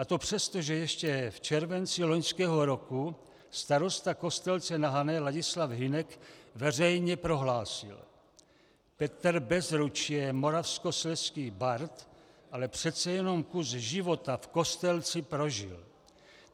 A to přesto, že ještě v červenci loňského roku starosta Kostelce na Hané Ladislav Hynek veřejně prohlásil: "Petr Bezruč je moravskoslezský bard, ale přece jenom kus života v Kostelci prožil.